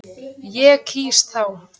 Ég kýs þá.